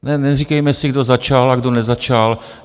Neříkejme si, kdo začal a kdo nezačal.